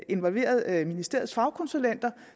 involveret ministeriets fagkonsulenter